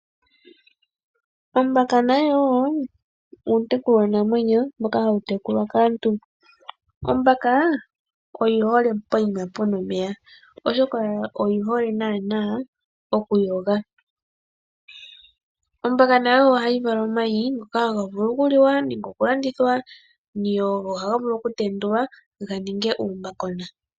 Ombaka nayo uutekulwanamwenyo mboka hawu tekulwa kaantu. Ombaka oyi hole pehala mpoka pu na omeya, oshoka oyi hole okuyoga. Ombaka nayo ohayi vala omayi, ngoka haga vulu okuliwa nenge okulandithwa, go ohaga vulu okutendulwa ga ninge uumbakona.